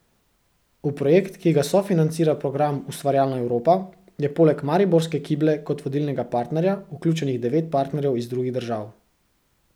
V projekt, ki ga sofinancira program Ustvarjalna Evropa, je poleg mariborske Kible kot vodilnega partnerja vključenih devet partnerjev iz drugih držav.